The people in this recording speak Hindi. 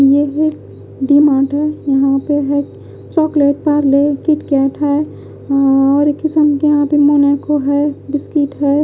ये है डिमार्ट है यहाँ पे है चॉकलेट पार्ले किट कैट है और किस्म की यहाँ पे मोनाको है बिस्किट है।